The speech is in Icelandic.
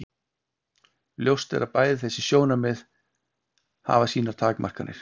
ljóst er að bæði þessi sjónarmið hafa sínar takmarkanir